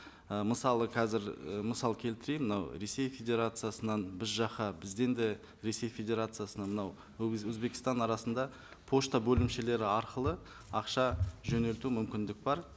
ы мысалы қазір і мысал келтірейін мынау ресей федерациясынан біз жаққа бізден де ресей федерациясына мынау өзбекстан арасында пошта бөлімшелері арқылы ақша жөнелту мүмкіндік бар